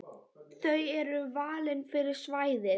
Þau eru valin fyrir svæðið.